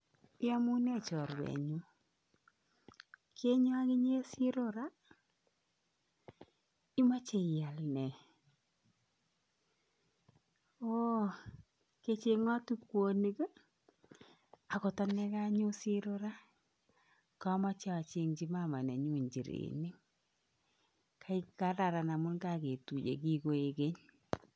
Iyomune chorwenyun , kenyon oginye siro raa ? Imoche ial nee? Oo kecheng'oti kwoonik ii ? Akot ane konyon siro raa komoche ocheng'yi mama nenyun njirenik. Kararan amun koketuye kikoik keny.